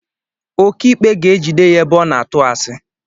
Okiikpe ga-ejide ya ebe ọ na-atụ asị